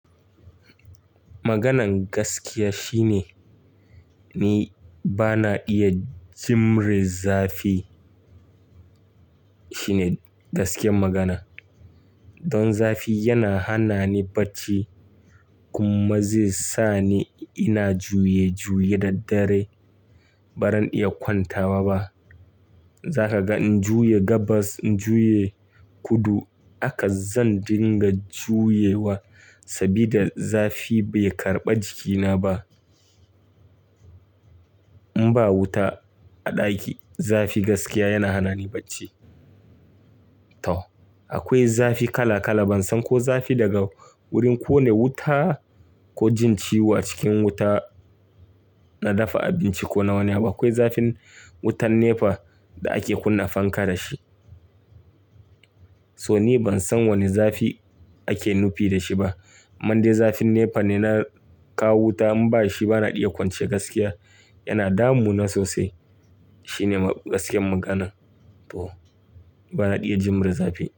Maganen gaskiya shine ni bana iya jimre zafi. Shine gaskiyar magana. Don zafi yana hana ni bacci kuma zai sa ni ina juye-juye da dare baran iya kwantawa ba. Za ka ga in juya gabas, in juye kudu haka zan dinga juyewa sabida zafi bai karɓa jikina ba. In ba wuta a ɗaki, zafi gaskiya yana hana ni bacci. Tau. Akwai zafi kala-kala ban san ko zafi daga wurin ƙone wuta ko jin ciwo cikin wuta na dafa abinci ko nawane abu. Akwai zafin wutan NEPA da ake kunna fanka da shi. So ni ban san wane zafi ake nufi da shi ba. Mande zafin NEPA ne na kawo wuta in ba shi bana iya kwance gaskiya. Yana damu na sosai. Shine gaskiyar magana. Tau. Bana iya jimre zafi.